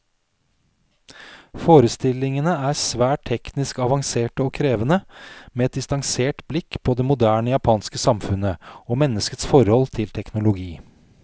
Forestillingene er svært teknisk avanserte og krevende, med et distansert blikk på det moderne japanske samfunnet, og menneskets forhold til teknologi.